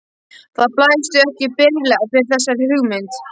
Það blæs því ekki byrlega fyrir þessari hugmynd.